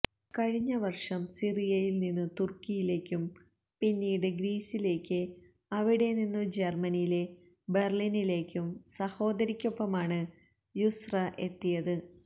കഴിഞ്ഞ വര്ഷം സിറിയയില് നിന്നു തുര്ക്കിയിലേക്കും പിന്നീട് ഗ്രീസിലേക്ക് അവിടെ നിന്നു ജര്മനിയിലെ ബെര്ലിനിലേക്കും സഹോദരിക്കൊപ്പമാണ് യുസ്ര എത്തിയത്